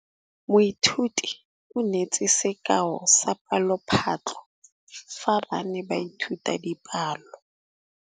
Moithuti o neetse sekaô sa palophatlo fa ba ne ba ithuta dipalo.